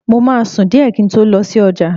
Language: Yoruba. Mo máa sùn díẹ̀ kí n tó lọ sí ọjà